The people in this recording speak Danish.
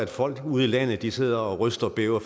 folk ude i landet sidder og ryster og bæver